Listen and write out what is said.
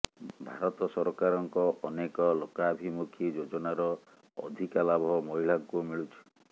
ଭାରତ ସରକାରଙ୍କ ଅନେକ ଲୋକାଭିମୁଖୀ ଯୋଜନାର ଅଧିକା ଲାଭ ମହିଳାଙ୍କୁ ମିଳୁଛି